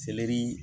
Selɛri